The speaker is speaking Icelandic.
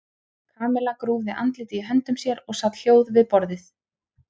Kamilla grúfði andlitið í höndum sér og sat hljóð við borðið.